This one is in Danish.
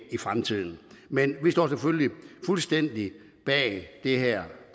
i fremtiden men vi står selvfølgelig fuldstændig bag de her